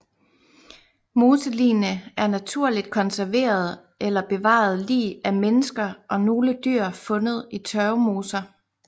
Moseligene er naturligt konserverede eller bevarede lig af mennesker og nogle dyr fundet i tørvemoser